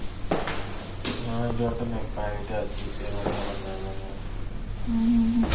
ହଁ, ଏଇଠି ଗୋଟେ ନେପାଳୀ ଟେ ଅଛି ସେ ବଢିଆ ବନାଏ momos